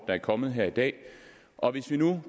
er kommet her i dag og hvis vi nu